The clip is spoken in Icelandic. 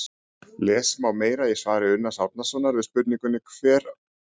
lesa má meira í svari unnars árnasonar við spurningunni hvar var fyrsti píramídinn